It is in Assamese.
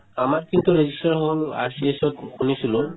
আমাৰ কিন্তু register হ'ল আশিষতত শুনিছিলো